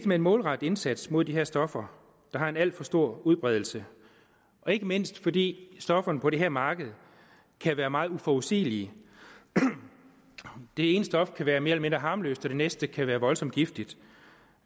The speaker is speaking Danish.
med en målrettet indsats mod de her stoffer der har en alt for stor udbredelse ikke mindst fordi stofferne på det her marked kan være meget uforudsigelige det ene stof kan være mere eller mindre harmløst og det næste kan være voldsomt giftigt